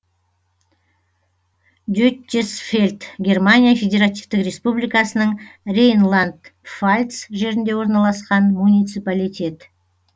деттесфельд германия федеративтік республикасының рейнланд пфальц жерінде орналасқан муниципалитет